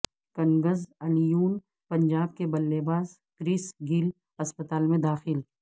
Kings Eleven Punjab کے بلے باز کرس گیل اسپتال میں داخل